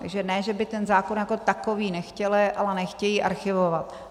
Takže ne že by ten zákon jako takový nechtěli, ale nechtějí archivovat.